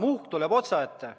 Muhk tuleb otsaette.